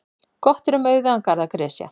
Gott er um auðugan garð að gresja.